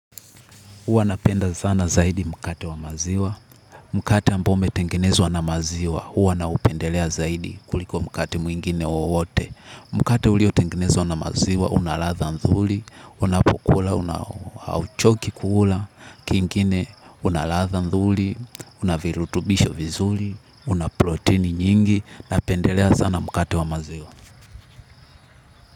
Huwa napenda sana zaidi mkate wa maziwa. Mkate ambao umetengenezwa na maziwa. Huwa naupendelea zaidi kuliko mkate mwingine wowote. Mkate uliotengenezwa na maziwa. Una ladha nzuri. Unapokula. Hauchoki kula. Kingine una ladha nzuri. Una virutubisho vizuri. Una proteini nyingi. Napendelea sana mkate wa maziwa.